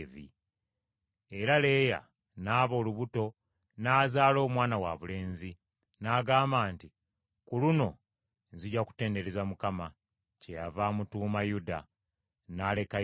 Era Leeya n’aba olubuto n’azaala omwana wabulenzi, n’agamba nti, “Ku luno nzija kutendereza Mukama ,” kyeyava amutuuma Yuda; n’alekayo okuzaala.